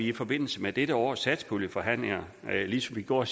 i forbindelse med dette års satspuljeforhandlinger ligesom vi gjorde